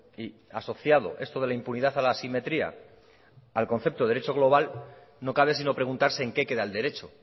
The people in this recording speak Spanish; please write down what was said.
y asociado esto de la impunidad a la asimetría al concepto de derecho global no cabe sino preguntarse en qué queda el derecho